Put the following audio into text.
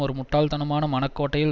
ஒரு முட்டாள்தனமான மனக்கோட்டையில்